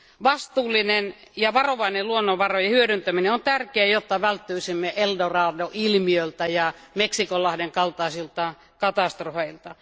Vastuullinen ja varovainen luonnonvarojen hyödyntäminen on tärkeää, jotta välttyisimme El Dorado ilmiöltä ja Meksikonlahden kaltaisilta katastrofeilta.